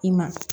I ma